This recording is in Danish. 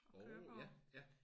Orh ja ja